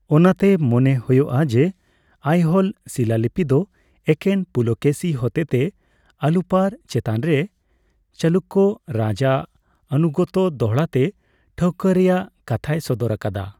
ᱚᱱᱟᱛᱮ ᱢᱚᱱᱮ ᱦᱳᱭᱳᱜᱼᱟ ᱡᱮ, ᱟᱭᱦᱳᱞ ᱥᱤᱞᱟᱞᱤᱯᱤ ᱫᱚ ᱮᱠᱮᱱ ᱯᱩᱞᱚᱠᱮᱥᱤ ᱦᱚᱛᱮᱛᱮ ᱟᱞᱩᱯᱟᱨ ᱪᱮᱛᱟᱱᱨᱮ ᱪᱟᱞᱩᱠᱠᱚ ᱨᱟᱡᱽ ᱟᱜ ᱟᱱᱩᱜᱚᱛᱛᱚ ᱫᱚᱦᱲᱟᱛᱮ ᱴᱷᱟᱹᱣᱠᱟᱹᱭ ᱨᱮᱭᱟᱜ ᱠᱟᱛᱷᱟᱭ ᱥᱚᱫᱚᱨ ᱟᱠᱟᱫᱟ ᱾